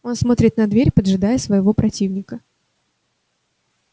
он смотрит на дверь поджидая своего противника